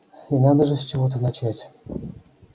и надо же с чего-то начать